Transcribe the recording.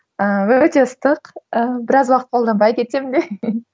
ыыы өте ыстық ыыы біраз уақыт қолданбай кетсем де